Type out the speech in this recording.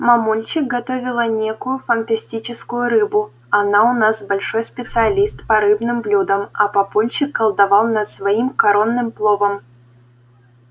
мамульчик готовила некую фантастическую рыбу она у нас большой специалист по рыбным блюдам а папульчик колдовал над своим коронным пловом